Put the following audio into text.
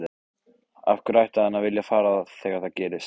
Af hverju ætti hann að vilja fara þegar það gerist?